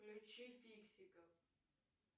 включи фиксиков